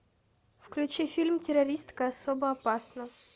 включи фильм террористка особо опасна